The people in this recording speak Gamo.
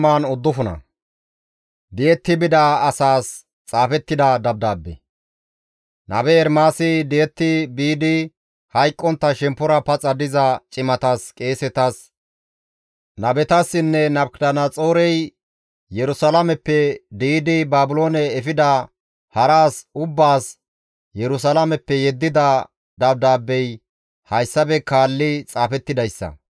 Nabe Ermaasi di7etti biidi hayqqontta shemppora paxa diza cimatas, qeesetas, nabetassinne Nabukadanaxoorey Yerusalaameppe di7idi Baabiloone efida hara as ubbaas Yerusalaameppe yeddida dabdaabbey hayssafe kaallidi xaafettidayssa.